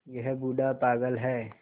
यह बूढ़ा पागल है